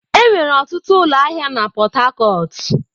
Enwere ọtụtụ ụlọ ahịa na Port Harcourt.